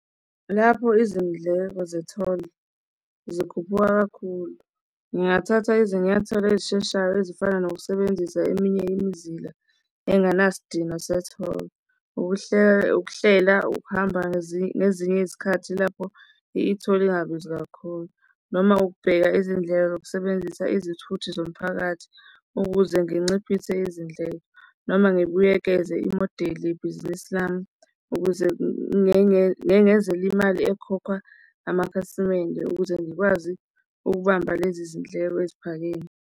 Lapho izindleko ze-toll zikhuphuka kakhulu, ngingathatha izinyathelo ezisheshayo ezifana nokusebenzisa eminye imizila engenasidina se-toll. Ukuhlela, ukuhamba ngezinye izikhathi lapho i-toll ingabizi kakhulu, noma ukubheka izindlela zokusebenzisa izithuthi zomphakathi ukuze nginciphise izindlela, noma ngibuyekeze imodeli yebhizinisi lami ukuze ngengezele imali ekhokhwa amakhasimende ukuze ngikwazi ukubamba lezi zindleko eziphakeme.